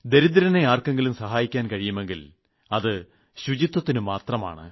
ദരിദ്രനെ ആർക്കെങ്കിലും സഹായിക്കാൻ കഴിയുമെങ്കിൽ അത് ശുചിത്വത്തിനുമാത്രമാണ്